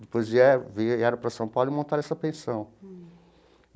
Depois vierem vieram para São Paulo e montaram essa pensão.